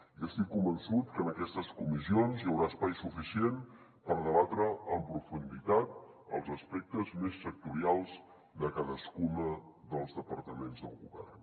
i estic convençut que en aquestes comissions hi haurà espai suficient per debatre en profunditat els aspectes més sectorials de cadascun dels departaments del govern